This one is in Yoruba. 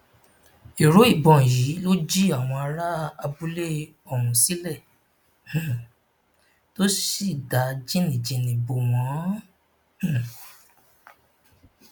ìró ìbọn yìí ló jí àwọn ará abúlé ọhún sílẹ um tó sì da jìnnìjìnnì bò wọn um